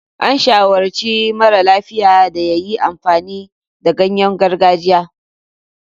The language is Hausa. An shawarci mara lafiya da ya yi amfani da ganyen gargajiya.